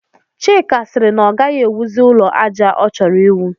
Chika sịrị na ọ gaghị ewuzi ụlọ àjà ọ chọrọ iwu